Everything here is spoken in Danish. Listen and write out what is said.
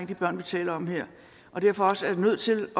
de børn vi taler om her og derfor også er nødt til at